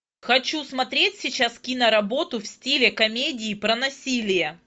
хочу смотреть сейчас киноработу в стиле комедии про насилие